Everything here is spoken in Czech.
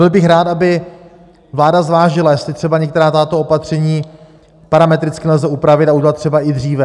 Byl bych rád, aby vláda zvážila, jestli třeba některá tato opatření parametricky nelze upravit a udělat třeba i dříve.